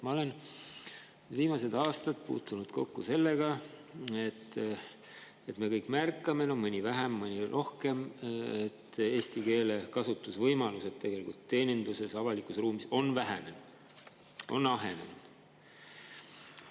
Ma olen viimased aastad puutunud kokku sellega ja me kõik märkame – mõni vähem, mõni rohkem –, et eesti keele kasutamise võimalused teeninduses, avalikus ruumis on vähenenud, on ahenenud.